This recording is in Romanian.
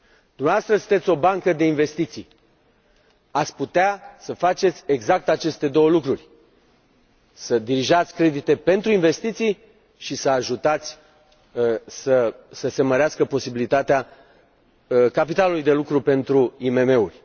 Dumneavoastră sunteți o bancă de investiții, ați putea să faceți exact aceste două lucruri să dirijați credite pentru investiții și să ajutați să se mărească posibilitatea capitalului de lucru pentru IMM uri.